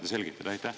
Saate selgitada?